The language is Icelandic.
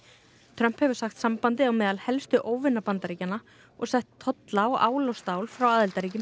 Trump hefur sagt sambandið á meðal helstu óvina Bandaríkjanna og sett á tolla á ál og stál frá